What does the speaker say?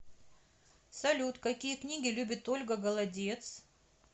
салют какие книги любит ольга голодец